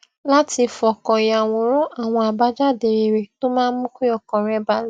láti fọkàn yàwòrán àwọn àbájáde rere tó máa mú kí ọkàn rè balè